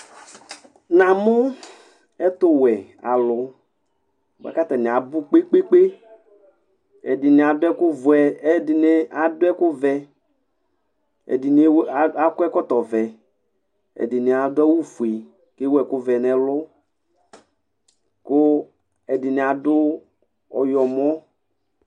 Namʋ ɛtʋwɛ alʋ bʋakʋ atani abʋ kpe lpe kpe ɛdini adʋ ɛkʋvɛ ɛdini akɔ ɛkɔtɔvɛ ɛdini adʋ awʋfue kʋ ewʋ ɛkʋvɛ nʋ ɛlʋ kʋ ɛdini adʋ ɔyɔmɔ